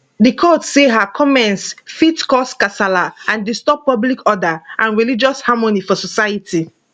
di court say her comments fit cause kasala and disturb public order and religious harmony for society